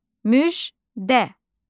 Müjdə.